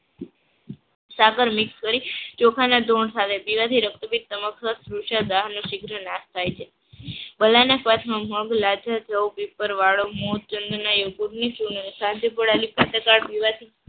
સાકર મિક્સ કરી ચોખા ના ગુણ સાથે પીવાથી રક્તપિત નો સિગરે નાશ થાય છે. પીવાથી